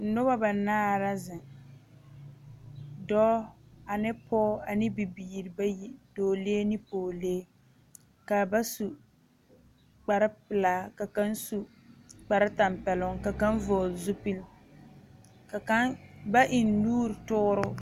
Noba banaare dɔɔ ne pɔge ne dɔɔlee